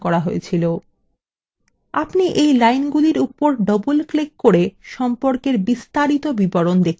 আপনি we linesগুলির উপর double click করে সম্পর্কের বিস্তারিত বিবরণ দেখতে পারবেন